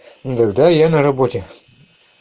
ну тогда я на работе